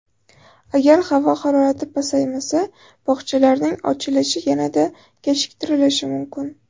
Agar havo harorati pasaymasa, bog‘chalarning ochilishi yanada kechiktirilishi mumkin.